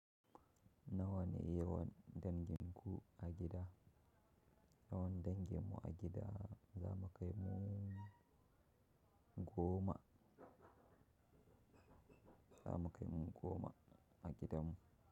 Nawa ne yawan danginku a gida? Yawan danginmu a gida za mu kai mu goma. Za mu kai mu goma a gidanmu.